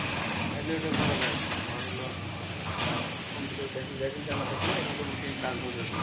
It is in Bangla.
তাইলে ওটা করা যায়, তোমার হল আহ computer জানা থাকলে মোটামুটি কাজ হবে ওটাতে